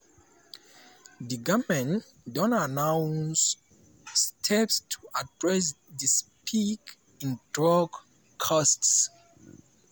di goment don announce steps to address di spike in drug costs.